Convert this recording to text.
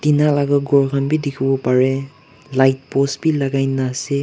na laga ghur khan bhi dekhi bo pare light post bhi legai ne ase.